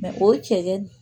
o ye cɛn